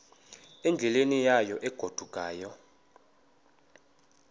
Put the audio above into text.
endleleni yayo egodukayo